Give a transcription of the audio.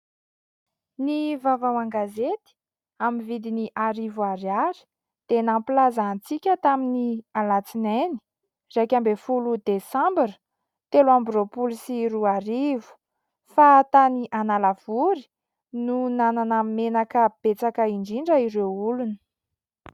Ny vavao an-gazety amin'ny vidiny arivo ariary dia nampilaza antsika tamin'ny alatsinainy iraika ambin'ny folo desambra telo amby roapolo sy roa arivo fa tany Analavory no nanana menaka betsaka indrindra ireo olona.